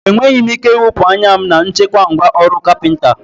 Enweghị m ike iwepụ anya m na nchekwa ngwá ọrụ carpenter